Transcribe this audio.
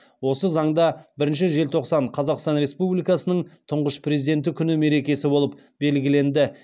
осы заңда бірінші желтоқсан қазақстан республикасының тұңғыш президенті күні мерекесі болып белгіленді